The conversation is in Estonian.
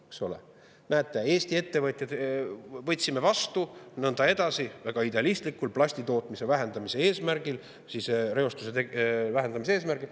Näete, võtsime vastu ja nõnda edasi, väga idealistlikult plastitootmise vähendamise eesmärgil, reostuse vähendamise eesmärgil.